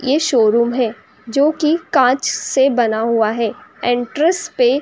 यह शोरूम है जो कि कांच से बना हुआ है। एंटरेस पे --